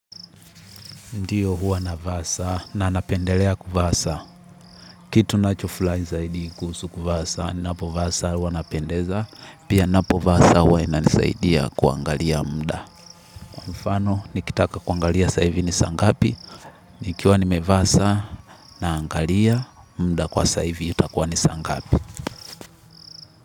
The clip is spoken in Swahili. Ndiyo huwa navaa saa na napendelea kuvaa sana. Kitu nacho furahi zaidi kuhusu kuvaa saa, napovaa saa huwa napendeza, pia napovaa sa ahuwa inanisaidia kuangalia muda. Mfano, nikitaka kuangalia sasa hivi ni saa ngapi. Nikiwa nimevaa saa naangalia muda kwa sasa hivi itakuwa ni saangapi.